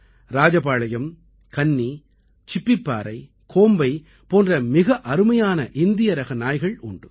ராஜபாளையம் கன்னி சிப்பிப்பாறை கோம்பை போன்ற மிக அருமையான இந்திய ரக நாய்கள் உண்டு